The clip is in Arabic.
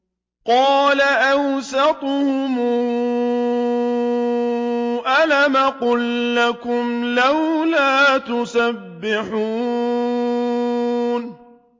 قَالَ أَوْسَطُهُمْ أَلَمْ أَقُل لَّكُمْ لَوْلَا تُسَبِّحُونَ